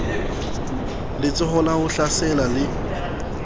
letsholo la ho hlasela le